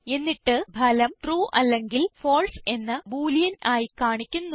എന്നിട്ട് ഫലം ട്രൂ അല്ലെങ്കിൽ ഫാൽസെ എന്ന ബോളിയൻ ആയി കാണിക്കുന്നു